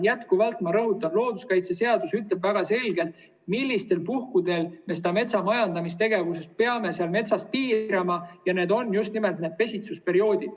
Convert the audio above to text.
Jätkuvalt ma rõhutan, et looduskaitseseadus ütleb väga selgelt, millistel puhkudel me metsamajandamistegevust peame metsas piirama, ja see on just nimelt pesitsusperiood.